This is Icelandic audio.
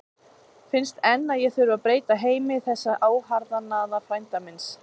Finnst enn að ég þurfi að breyta heimi þessa óharðnaða frænda míns.